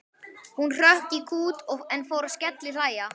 Hún hrökk í kút en hann fór að skellihlæja.